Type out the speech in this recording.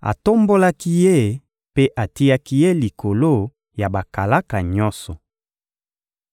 atombolaki ye mpe atiaki ye likolo ya bakalaka nyonso.